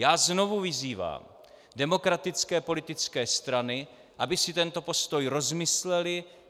Já znovu vyzývám demokratické politické strany, aby si tento postoj rozmyslely.